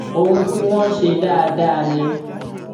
ohun tí wọn ń ṣe dáadáa ni